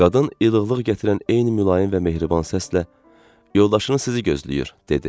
Qadın ilıqlıq gətirən eyni mülayim və mehriban səslə yoldaşınız sizi gözləyir, dedi.